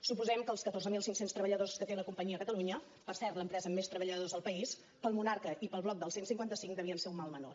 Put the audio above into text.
suposem que els catorze mil cinc cents treballadors que té la companyia a catalunya per cert l’empresa amb més treballadors al país per al monarca i per al bloc del cent i cinquanta cinc devien ser un mal menor